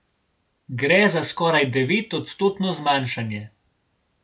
Gre za skoraj devetodstotno zmanjšanje.